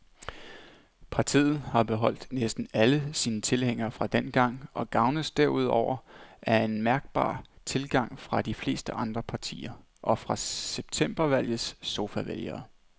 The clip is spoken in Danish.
Partiet har beholdt næsten alle sine tilhængere fra dengang og gavnes derudover af mærkbar tilgang fra de fleste andre partier og fra septembervalgets sofavælgere.